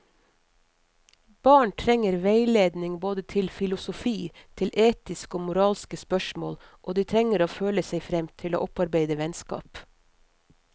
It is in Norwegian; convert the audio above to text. Barn trenger veiledning både til filosofi, til etiske og moralske spørsmål, og de trenger å føle seg frem til å opparbeide vennskap.